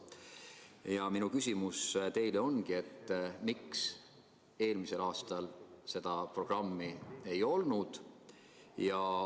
Ja minu küsimus teile ongi: miks eelmisel aastal seda programmi ei olnud?